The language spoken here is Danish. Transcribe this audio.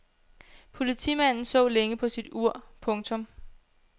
Politimanden så længe på sit ur. punktum